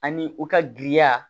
Ani u ka giriya